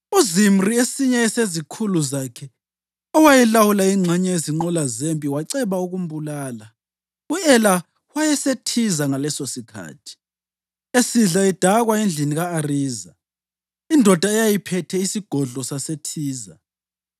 UZimri, esinye sezikhulu zakhe, owayelawula ingxenye yezinqola zempi, waceba ukumbulala. U-Ela wayeseThiza ngalesosikhathi, esidla edakwa endlini ka-Ariza, indoda eyayiphethe isigodlo saseThiza.